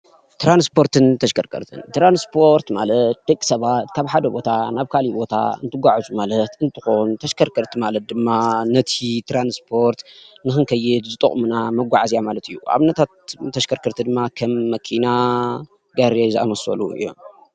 ትራንስፖርትን ተሽከርከርትን ትራንስፖርት ማለት ደቂ ሰባት ካብ ሓደ ቦታ ናብ ካሊእ ቦታ እንትጉዓዙ ማለት እንትኮን ተሽከርከርቲ ማለት ድማ ነቲ ትራንስፖርት ንክንከይድ ዝጠቅሙና መጓዓዝያ ማለት እዩ ። ኣብነታት ተሽከርከርቲ ድማ ከም መኪና፣ ጋሪ ዝኣመሰሉ እዮም፡፡